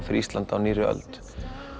fyrir Ísland á nýrri öld